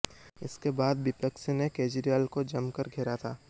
इसके बाद विपक्ष ने केजरीवाल को जमकर घेरा था